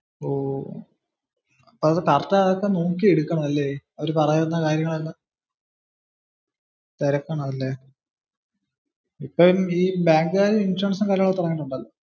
ഓ. അപ്പോ correct അതൊക്കെ നോക്കി എടുക്കണം അല്ലെ. അവര് പറയുന്ന കാര്യങ്ങളൊക്കെ. തിരക്കണം അല്ലെ? ഇപ്പം ഈ ബാങ്കുകാരും ഇൻഷുറൻസും കാര്യങ്ങളൊക്കെ തുടങ്ങിട്ടുണ്ടലല്ലോ